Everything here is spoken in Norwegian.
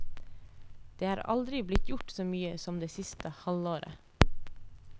Det er aldri blitt gjort så mye som det siste halvåret.